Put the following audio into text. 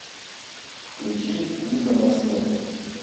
включи виза на смерть